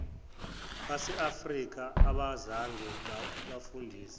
baseafrika abazange babafundise